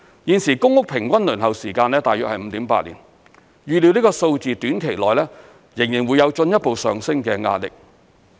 現時公屋平均輪候時間大約 5.8 年，預料這數字短期內仍會有進一步上升的壓力。